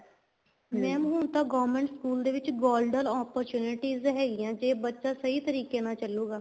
mam ਹੁਣ ਤਾਂ government school ਦੇ ਵਿੱਚ golden opportunities ਹੈਗੀਆਂ ਜ਼ੇ ਬੱਚਾ ਸਹੀ ਤਰੀਕੇ ਨਾਲ ਚੱਲੂਗਾ